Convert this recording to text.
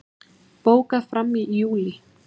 Bókað fram í júlí